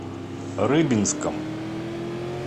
рыбинском